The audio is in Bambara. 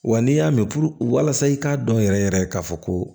Wa n'i y'a mɛn puruke walasa i k'a dɔn yɛrɛ yɛrɛ k'a fɔ ko